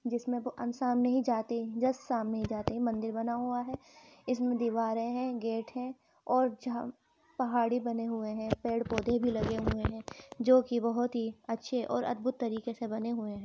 जिसमें सामने ही जाते ही जस्ट सामने ही जाते मंदिर बना हुआ है इसमे दिवारे हैं गेट है और झा पहाड़े बने हुए हैं पेड़ पोधे भी लगे हुए हैं जो कि बोहोत ही अच्छे और अद्भुत तरीके से बने हुए हैं।